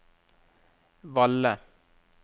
Valle